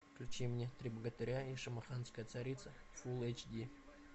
включи мне три богатыря и шамаханская царица фулл эйч ди